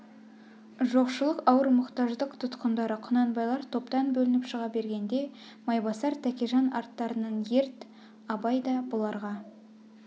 жоқшылық ауыр мұқтаждық тұтқындары құнанбайлар топтан бөлініп шыға бергенде майбасар тәкежан арттарынан ерд абай да бұларға